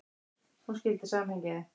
Hún skildi samhengið.